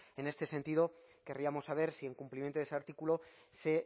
en este sentido querríamos saber si en cumplimiento de ese artículo se